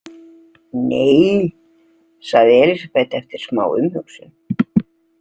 Nei, sagði Elísabet eftir smá umhugsun.